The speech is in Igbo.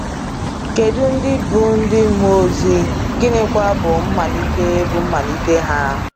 "Kedụ ndị bụ ndị mmụọ ozi, gịnịkwa bụ mmalite bụ mmalite ha?”